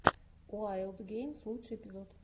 уайлд геймс лучший эпизод